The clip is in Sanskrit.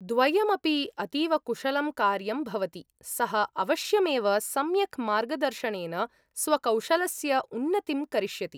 द्वयम् अपि अतीव कुशलं कार्यं भवति, सः अवश्यमेव सम्यक् मार्गदर्शनेन स्वकौशलस्य उन्नतिं करिष्यति।